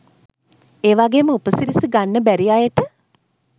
ඒවගේම උපසිරසි ගන්න බැරි අයට